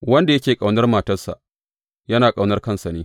Wanda yake ƙaunar matarsa, yana ƙaunar kansa ne.